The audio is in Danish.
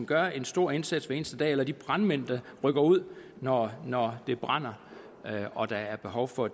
gør en stor indsats for eneste dag eller de brandmænd der rykker ud når når det brænder og der er behov for